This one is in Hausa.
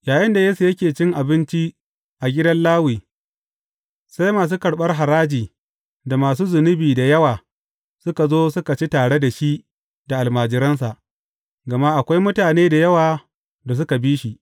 Yayinda Yesu yake cin abinci a gidan Lawi, sai masu karɓar haraji da masu zunubi da yawa, suka zo suka ci tare da shi da almajiransa, gama akwai mutane da yawa da suka bi shi.